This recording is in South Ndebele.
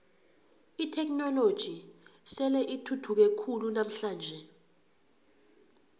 itheknoloji sele ithuthuke khulu namhlanje